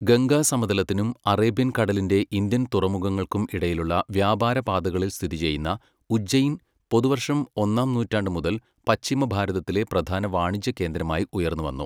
ഗംഗാ സമതലത്തിനും അറേബ്യൻ കടലിന്റെ ഇന്ത്യൻ തുറമുഖങ്ങൾക്കും ഇടയിലുള്ള വ്യാപാര പാതകളിൽ സ്ഥിതി ചെയ്യുന്ന ഉജ്ജൈൻ പൊതുവർഷം ഒന്നാം നൂറ്റാണ്ട് മുതൽ പശ്ചിമ ഭാരതത്തിലെ പ്രധാന വാണിജ്യ കേന്ദ്രമായി ഉയർന്നുവന്നു.